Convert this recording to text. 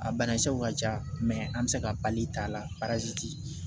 A banakisɛw ka ca an bɛ se ka pali t'a la